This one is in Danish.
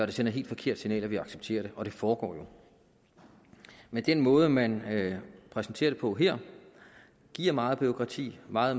det sender et helt forkert signal om at vi accepterer det og det foregår jo men den måde man præsenterer det på her giver meget bureaukrati meget